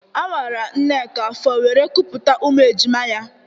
A wara Nneka afọ wéré kupụta ụmụ ejima ya